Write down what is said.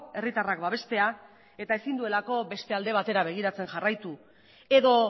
herritarrak babestea eta ezin du beste alde batera begiratzen jarraitu edo